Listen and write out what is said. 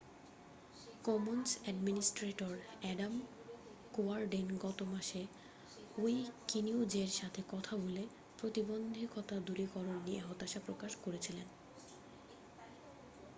Commons administrator Adam Cuerden গত মাসে উইকিনিউজের সাথে কথা বলে প্রতিবন্ধতা দূরীকরণ নিয়ে হতাশা প্রকাশ করেছিলেন